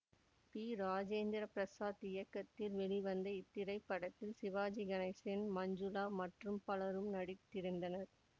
B Rajendra Prasad இயக்கத்தில் வெளிவந்த இத்திரைப்படத்தில் சிவாஜி கணேசன் மஞ்சுளா மற்றும் பலரும் நடித்திருந்தனர்